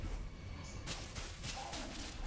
kwazi bani mhlawumbe